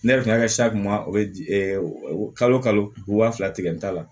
Ne yɛrɛ kun y'a kɛ sa kun ma o kalo kalo fila tigɛ n ta la